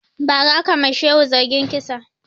Ba ra aka ma shehu zargin kisa